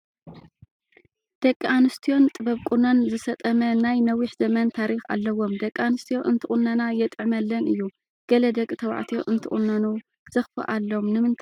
ደቂ ኣንስትዮን ጥበብ ቁኖን ዝሰጠመ ናይ ነዊሕ ዘመን ታሪክ ኣለዎም፡፡ ደቂ ኣንስትዮ እንትቑነና የጥዕመለን እዩ፡፡ ገለ ደቂተባዕትዮ እንትቑነኑ ዘኽፍአሎም ንምንታይ እዩ?